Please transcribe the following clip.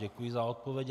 Děkuji za odpověď.